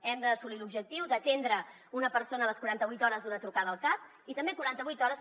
hem d’assolir l’objectiu d’atendre una persona a les quaranta vuit hores d’una trucada al cap i també quaranta vuit hores